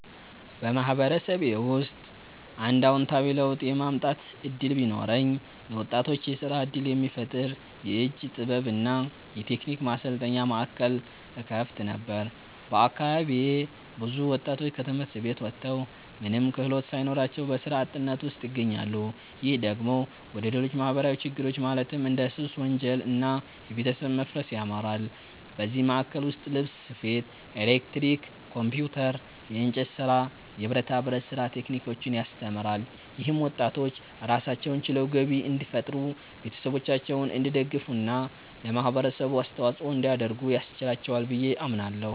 በማህበረሰቤ ውስጥ አንድ አዎንታዊ ለውጥ የማምጣት እድል ቢኖረኝ፣ ለወጣቶች የስራ እድል የሚፈጥር የእጅ ጥበብ እና የቴክኒክ ማሰልጠኛ ማዕከል እከፍት ነበር። በአካባቢዬ ብዙ ወጣቶች ከትምህርት ቤት ወጥተው ምንም ክህሎት ሳይኖራቸው በስራ አጥነት ውስጥ ይገኛሉ። ይህ ደግሞ ወደ ሌሎች ማህበራዊ ችግሮች ማለትም እንደ ሱስ፣ ወንጀል እና የቤተሰብ መፋረስ ያመራል። በዚህ ማዕከል ውስጥ ልብስ ስፌት፣ ኤሌክትሪክ፣ ኮምፒውተር፣ የእንጨት ስራ፣ የብረታ ብረት ስራ ቴክኒኮችን ያስተምራል። ይህም ወጣቶች ራሳቸውን ችለው ገቢ እንዲፈጥሩ፣ ቤተሰቦቻቸውን እንዲደግፉ እና ለማህበረሰቡ አስተዋጽኦ እንዲያደርጉ ያስችላቸዋል ብዬ አምናለሁ።